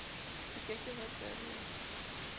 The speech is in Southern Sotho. ho ke ke ha tellwa